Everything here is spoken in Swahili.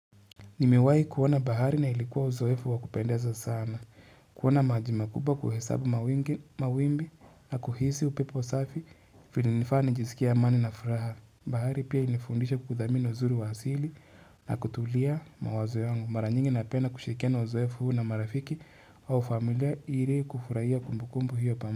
Nimewahi kuona bahari na ilikuwa uzoefu wa kupendeza sana. Kuona maji makuba, kuhesabu mawimbi na kuhisi upepo safi vilinifanya nisikie amani na furaha. Bahari pia ilinifundisha kuthamini uzuri wa asili na kutuliza mawazo yangu. Mara nyingi napenda kushiriki uzoefu huu na marafiki au familia ili kufurahia kumbukumbu hiyo pamoja.